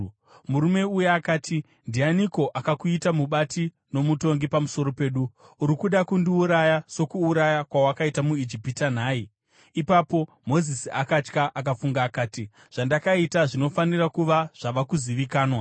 Murume uya akati, “Ndianiko akakuita mubati nomutongi pamusoro pedu? Uri kuda kundiuraya sokuuraya kwawakaita muIjipita nhai?” Ipapo Mozisi akatya akafunga akati, “Zvandakaita zvinofanira kuva zvava kuzivikanwa.”